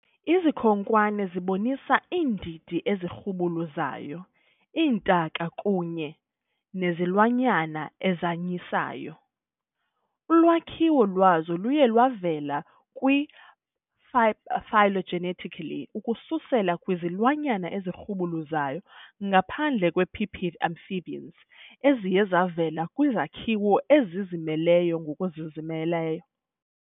Izikhonkwane zibonisa iindidi ezirhubuluzayo, iintaka kunye nezilwanyana ezanyisayo, Ulwakhiwo lwazo luye lwavela kwi-phylogenetically ukususela kwizilwanyana ezirhubuluzayo, ngaphandle kwe -pipid amphibians eziye zavela kwizakhiwo ezizimeleyo ngokuzimeleyo.